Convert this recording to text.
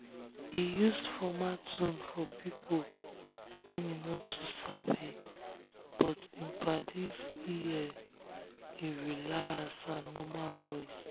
he use formal tone for people wey um he no too sabi but um him paddies ear him relaxed and normal voice.